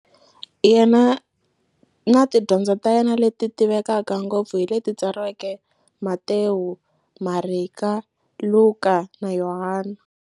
Yena na tidyondzo ta yena, leti tivekaka ngopfu hi leti tsariweke hi-Matewu, Mareka, Luka, na Yohani.